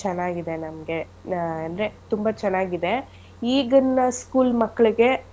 ಚೆನ್ನಾಗಿದೆ ನಮ್ಗೆ ನ~ ಅಂದ್ರೆ ತುಂಬಾ ಚೆನ್ನಾಗಿದೆ ಈಗಿನ school ಮಕ್ಳಿಗೆ.